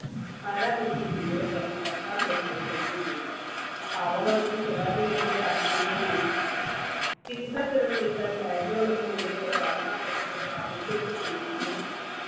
Para medical ജീവനക്കാരും സർക്കാർ മേഖലയെ കയ്യൊഴിയുമ്പോൾ, പാവങ്ങൾക്കും സ്വകാര്യമേഖലയെ ആശ്രയിക്കേണ്ടിവരും. ചികിൽസാ ചെലവുകൾക്കായി bank കളൊന്നും ഇതേവരെ വായ്‌പാ പദ്ധതികൾ ആവിഷ്‌കരിച്ചിട്ടില്ലെന്നു